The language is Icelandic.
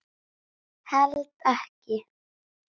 Held ekki.